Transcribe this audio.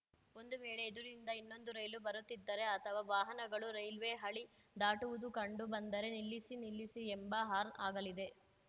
ಒಂದು ವೇಳೆ ಎದುರಿನಿಂದ ಇನ್ನೊಂದು ರೈಲು ಬರುತ್ತಿದ್ದರೆ ಅಥವಾ ವಾಹನಗಳು ರೈಲ್ವೆ ಹಳಿ ದಾಟುವುದು ಕಂಡು ಬಂದರೆ ನಿಲ್ಲಿಸಿ ನಿಲ್ಲಿಸಿ ಎಂಬ ಹಾರ್ನ್‌ ಆಗಲಿದೆ